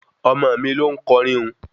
Ọmọ mi loún kọrin un